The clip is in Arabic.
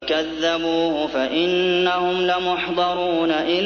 فَكَذَّبُوهُ فَإِنَّهُمْ لَمُحْضَرُونَ